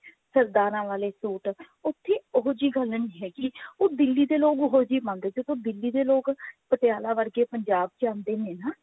ਸਰਦਾਰਾ ਵਾਲੇ suit ਉੱਥੇ ਉਹੀ ਜਿਹੀ ਗੱਲ ਨਹੀਂ ਹੈਗੀ ਉਹ ਦਿੱਲੀ ਦੇ ਲੋਕ ਉਹੀ ਜਿਹੇ ਮੰਗਦੇ ਦੇਖੋ ਦਿੱਲੀ ਦੇ ਲੋਕ ਪਟਿਆਲਾ ਵਰਗੇ ਪੰਜਾਬ ਚ ਆਉਂਦੇ ਨੇ ਨਾ